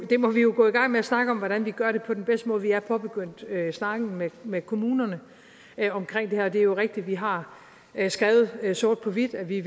det må vi jo gå i gang med at snakke om hvordan vi gør på den bedste måde vi er påbegyndt snakken med med kommunerne omkring det her det er jo rigtigt at vi har skrevet sort på hvidt at vi